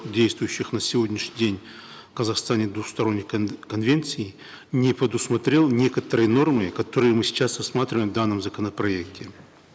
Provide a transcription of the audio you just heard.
действующих на сегодняшний день в казахстане двусторонних конвенций не предусмотрел некоторые нормы которые мы сейчас рассматриваем в данном законопроекте